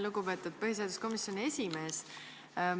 Lugupeetud põhiseaduskomisjoni esimees!